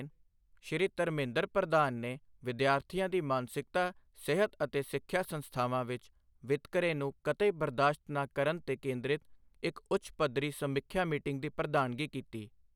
ਸ਼੍ਰੀ ਧਰਮੇਂਦਰ ਪ੍ਰਧਾਨ ਨੇ ਵਿਦਿਆਰਥੀਆਂ ਦੀ ਮਾਨਸਿਕ ਸਿਹਤ ਅਤੇ ਸਿੱਖਿਆ ਸੰਸਥਾਵਾਂ ਵਿੱਚ ਵਿਤਕਰੇ ਨੂੰ ਕਤਈ ਬਰਦਾਸ਼ਤ ਨਾ ਕਰਨ ਤੇ ਕੇਂਦ੍ਰਿਤ ਇੱਕ ਉੱਚ ਪੱਧਰੀ ਸਮੀਖਿਆ ਮੀਟਿੰਗ ਦੀ ਪ੍ਰਧਾਨਗੀ ਕੀਤੀ